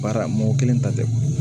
Baara mɔgɔ kelen ta tɛ